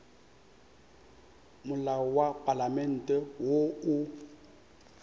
molao wa palamente wo o